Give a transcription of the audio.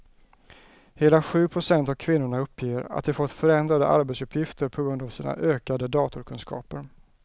Hela sju procent av kvinnorna uppger att de fått förändrade arbetsuppgifter på grund av sina ökade datorkunskaper.